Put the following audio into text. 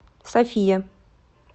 софия